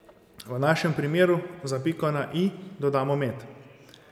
V našem primeru za piko na i dodamo med.